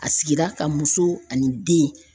A sigira ka muso ani den